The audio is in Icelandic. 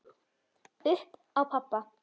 Upp á pabba.